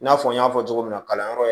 I n'a fɔ n y'a fɔ cogo min na kalanyɔrɔ yɛrɛ